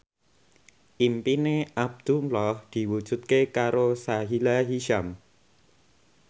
impine Abdullah diwujudke karo Sahila Hisyam